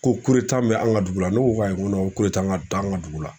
Ko bɛ an ka dugu la ne ko ayi ko t'an ka dugu la